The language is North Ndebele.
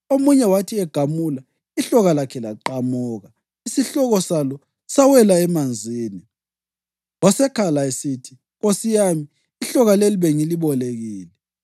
Omunye wathi egamula, ihloka lakhe laqamuka isihloko salo sawela emanzini. Wasekhala esithi, “Nkosi yami, ihloka leli bengilibolekile.”